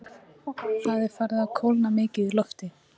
Það er farið að kólna mikið í lofti.